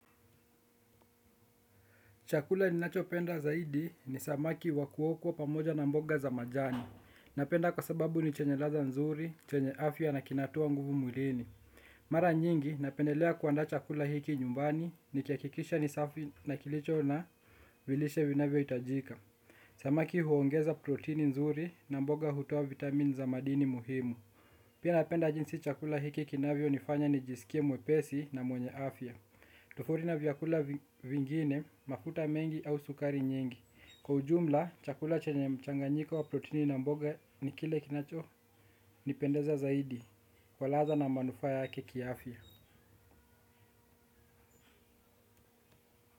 Chakula ninacho penda zaidi ni samaki wa kuokwa pamoja na mboga za majani. Napenda kwa sababu ni chenye laza nzuri, chenye afya na kinatoa nguvu mwlini. Mara nyingi napendelea kuandaa chakula hiki nyumbani nikihakikisha ni safi na kilicho na vilishe vinavyo itajika. Samaki huongeza protini nzuri na mboga hutuoa vitamini za madini muhimu. Pia napenda jinsi chakula hiki kinavyo nifanya nijisikie mwepesi na mwenye afya. Tofauti na vyakula vingine, mafuta mengi au sukari nyingi kwa ujumla, chakula chanye mchanganyiko wa protini na mboga ni kile kinacho nipendeza zaidi. Walaza na manufaa yake kiafya.